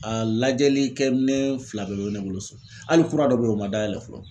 A lajɛli kɛ minɛn fila bɛɛ bɛ ne bolo so, hali kura dɔ be ye o ma dayɛlɛ fɔlɔ.